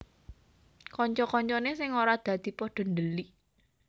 Kanca kancane sing ora dadi pada dhelik